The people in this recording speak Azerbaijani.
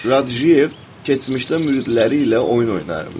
Qurdjiyev keçmişdə müridləri ilə oyun oynayırmış.